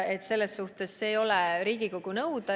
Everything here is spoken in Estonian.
Seda ei saa Riigikogu nõuda.